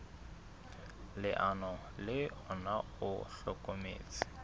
leano le ona o hlokometse